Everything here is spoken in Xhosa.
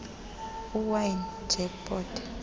uwine ijack pot